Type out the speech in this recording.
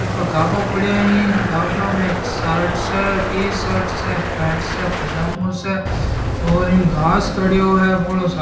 इपे गाबा पड़ा है गाबा में एक सार्ट स टीसार्ट से पैंट से पैजामो स और इन घास खडियो है भोळो सारो --